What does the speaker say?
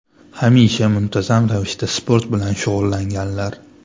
Hamisha muntazam ravishda sport bilan shug‘ullanganlar.